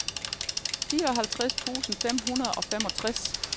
fireoghalvtreds tusind fem hundrede og femogtres